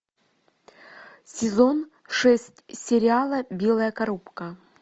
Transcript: сезон шесть сериала белая коробка